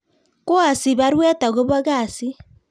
Koasich baruet agobo kasit